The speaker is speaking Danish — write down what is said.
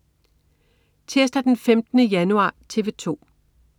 Tirsdag den 15. januar - TV 2: